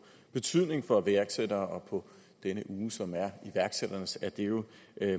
betydning for iværksættere og i denne uge som er iværksætternes er det jo